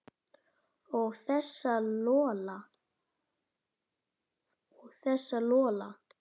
Og þessa Lola.